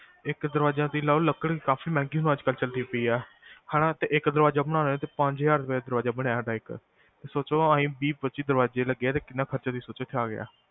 ਇਕ ਦਰਵਾਜ਼ਾ ਬਣਾਇਆ ਤੁਸੀ ਲਾਓ ਲੱਕੜ ਵੀ ਕਾਫੀ ਮਹਿੰਗੀ ਅੱਜਕਲ ਚਲੀ ਪਈਆ, ਹੈਨਾ ਇਕ ਦਰਵਾਜ਼ਾ ਬਣਾਓ ਤੇ ਪੰਜ ਹਜ਼ਾਰ ਦਾ ਦਰਵਾਜ਼ਾ ਬਣਿਆ ਸਾਡਾ ਇਕ, ਤੁਸੀ ਸੋਚ ਵੀਹ ਪੱਚੀ ਦਰਵਾਜ਼ੇ ਲੱਗਿਆ ਤੇ ਸੋਚੋ ਕਿਹਨਾਂ ਖਰਚਾ ਆ ਗਿਆ